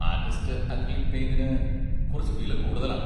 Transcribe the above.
Artist acrylic പെയിന്റിന് കുറച്ച് വില കൂടുതലാണ്.